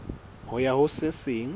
ho ya ho se seng